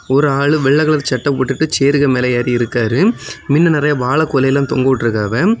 ஒரு ஆளு வெள்ள கலர் சட்டை போட்டுட்டு சேர்க்கு மேல ஏரி இருக்காரு மின்ன நிறைய வாழ கொலையெல்லாம் தொங்கவிட்டு இருக்காவ.